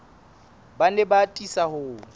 ba ne ba atisa ho